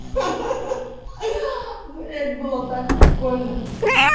ха ах блять было так прикольно